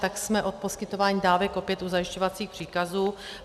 Tak jsme od poskytování dávek opět u zajišťovacích příkazů.